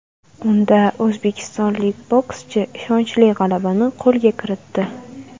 Unda o‘zbekistonlik bokschi ishonchli g‘alabani qo‘lga kiritdi.